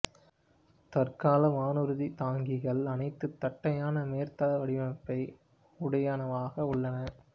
தற்கால வானூர்தி தாங்கிகள் அனைத்தும் தட்டையான மேற்தள வடிவமைப்பை உடையனவாக உள்ளன